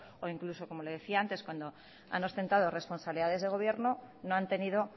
o incluso como le decía antes cuando han ostentado responsabilidades de gobierno no han tenido